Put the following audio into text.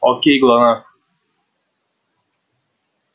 к кому пришла красавица